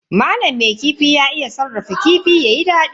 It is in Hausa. Malam mai kifi ya iya sarrafa kifi yayi dadi.